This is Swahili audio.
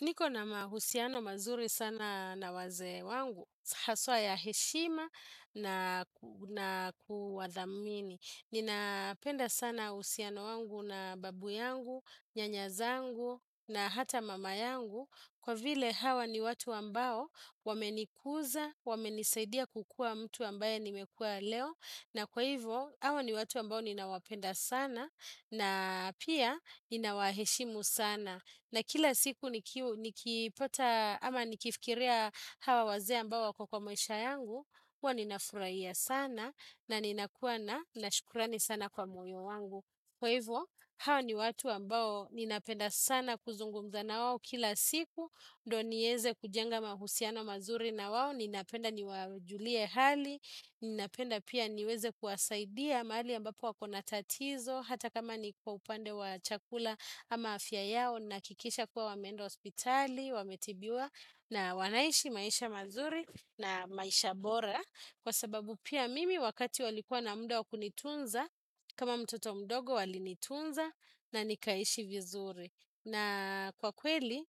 Niko na mahusiano mazuri sana na wazee wangu, haswa ya heshima na kuwadhamini. Ninapenda sana uhusiano wangu na babu yangu, nyanya zangu na hata mama yangu. Kwa vile hawa ni watu ambao wamenikuza, wamenisaidia kukua mtu ambaye nimekua leo. Na kwa hivyo, hawa ni watu ambao ninawapenda sana na pia ninawaheshimu sana. Na kila siku nikipata ama nikifikiria hawa wazee ambao wako kwa maisha yangu, huwa ninafurahia sana na ninakuwa na shukurani sana kwa moyo wangu. Kwa hivyo, hao ni watu ambao ninapenda sana kuzungumza na wao kila siku, ndio niweze kujenga mahusiano mazuri na wao, ninapenda niwajulie hali, ninapenda pia niweze kuwasaidia mahali ambapo wakona tatizo hata kama ni kwa upande wa chakula ama afya yao, nahakikisha kuwa wameenda hospitali, wametibiwa na wanaishi maisha mazuri na maisha bora. Kwa sababu pia mimi wakati walikuwa na muda wa kunitunza kama mtoto mdogo walinitunza na nikaishi vizuri. Na kwa kweli